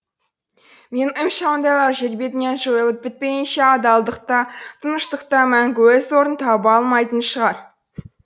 менің ойымша ондайлар жер бетінен жойылып бітпейінше адалдық та тыныштық та мәңгі өз орнын таба алмайтын шығар